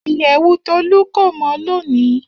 Iyẹwu Tolu ko mọ loni.